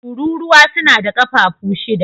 Tururuwa suna da kafafu shida.